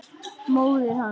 Móðir hans!